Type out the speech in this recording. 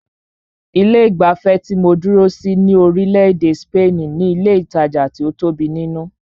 Ilé ìgbafẹ́ tí mó dúró sí ní orílẹ̀-èdè spaini ní ilé ìtajà tí o tóbi nínú.